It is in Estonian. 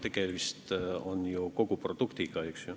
Tegemist on ju koguproduktiga.